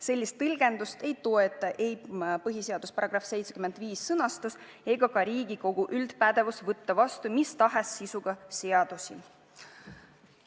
Sellist tõlgendust ei toeta ei põhiseaduse § 75 sõnastus ega ka Riigikogu üldpädevus võtta vastu mis tahes sisuga seadusi.